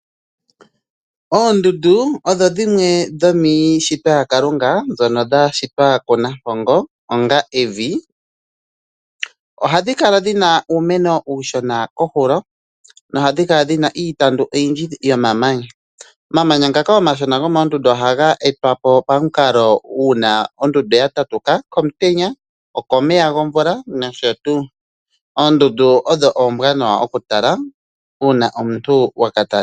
Oondundu odho dhimwe dhomiishitwa ya Kalunga ndhono dha shitwa kunampongo onga evi. Ohadhi kala dhina uumeno uushona koohulo nohadhi kala ndhina iitandu oyindi yo womamanya. omamanya ngaaka omashona ohaga etwa po komukalo uuna oondundu dha tatuka komutenya, komeya gomvula. Oondundu odho oombwanawa oku tala uuna omuntu waka talela po.